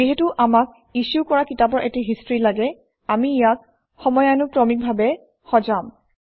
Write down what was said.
যিহেতু আমাক ইছ্যু কৰা কিতাপৰ এটা হিষ্ট্ৰী লাগে আমি ইয়াক সময়ানুক্ৰমিকভাৱে সজাম